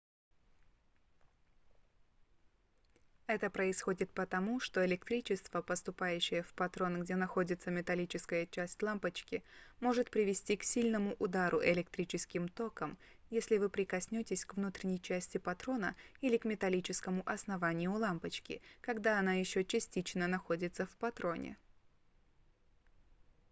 это происходит потому что электричество поступающее в патрон где находится металлическая часть лампочки может привести к сильному удару электрическим током если вы прикоснётесь к внутренней части патрона или к металлическому основанию лампочки когда она ещё частично находится в патроне